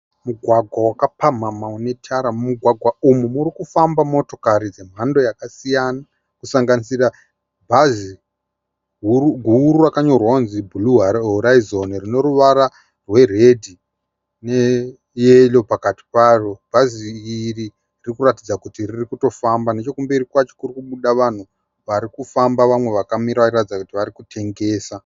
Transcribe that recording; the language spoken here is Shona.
Mugwagwa wakapamhamha une tara, mugwagwa umu muri kufamba motokari dzemhando yakasiyana kusanganisira bhazi guru rakanyorwa kunzi Blue Horizon rino ruvara rweredhi neyero pakati paro bhazi iri riri kuratidza kuti riri kutofamba nechekumberi kwacho kuri kubuda vanhu vari kufamba vamwe vakamira vari kuratidza kuti vari kutengesa.